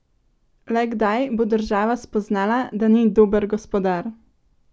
Le kdaj bo država spoznala, da ni dober gospodar?